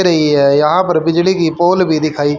रही है यहां पर बिजली की पोल भी दिखाई --